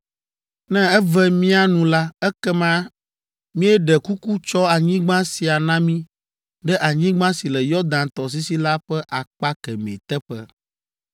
Ne eve mía nu la ekema míeɖe kuku tsɔ anyigba sia na mí ɖe anyigba si le Yɔdan tɔsisi la ƒe akpa kemɛ teƒe.”